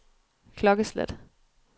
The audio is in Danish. klokkeslæt